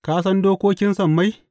Ka san dokokin sammai?